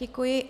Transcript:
Děkuji.